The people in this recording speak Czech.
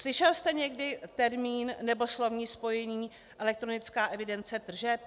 Slyšel jste někdy termín nebo slovní spojení elektronická evidence tržeb?